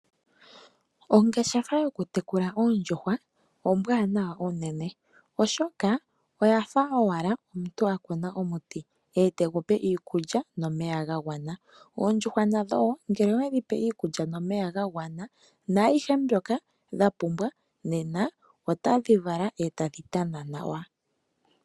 Ongeshefa yokutekula oondjuhwa ombwaanawa unene, oshoka oya fa owala omuntu a kuna omuti e te gu pe iikulya nomeya ga gwana. Oondjuhwa nadho wo ngele owedhi pe iikulya nomeya ga gwana naayihe mbyoka dha pumbwa nena otadhi vala e tadhi tana nawa.